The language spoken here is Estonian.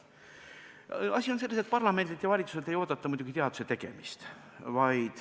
Asi on selles, et parlamendilt ja valitsuselt ei oodata muidugi teaduse tegemist.